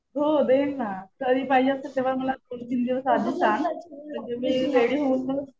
हो देईल ना. कधी पाहिजे असेल तेव्हा मला दोन तीन दिवस आधी सांग. म्हणजे मी रेडी होऊन मग